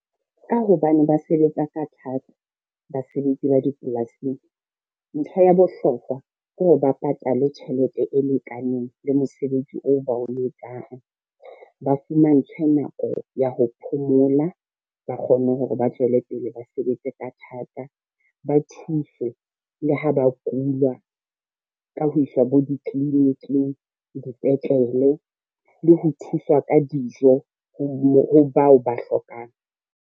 Ka hobane ba sebetsa ka thata, basebetsi ba dipolasing ntho ya bohlokwa ke hore ba patalwe tjhelete e lekaneng le mosebetsi oo ba o etsang. Ba fumantshwe nako ya ho phomola, ba kgone hore ba tswelepele ba sebetse ka thata, ba thuswe le ha ba kula ka ho iswa bo ditliliniki le dipetlele le ho thuswa ka dijo ho bao ba hlokang.